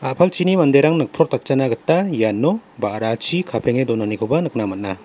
a·palchini manderang nikprotatjana gita iano ba·rachi kapenge donanikoba nikna man·a.